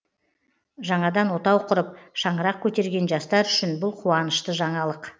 жаңадан отау құрып шаңырақ көтерген жастар үшін бұл қуанышты жаңалық